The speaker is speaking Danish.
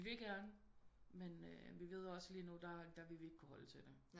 Vi vil gerne men vi ved også lige nu der der vil vi ikke kunne holde til det